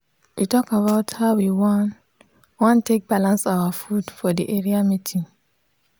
wa talk about how we wan wan take balance our food for the area meeting.